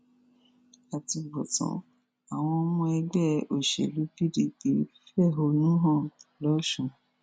àtúbọtán àwọn ọmọ ẹgbẹ òṣèlú pdp fẹhónú hàn lọsùn